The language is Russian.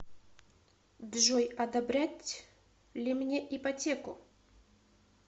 джой одобрять ли мне ипотеку